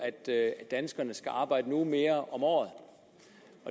er at danskerne skal arbejde en uge mere om året